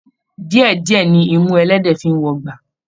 Díẹ̀ díẹ̀ ní imú ẹlẹ́dẹ̀ẹ́ fi ń wọgbà.